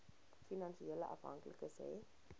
finansiële afhanklikes hê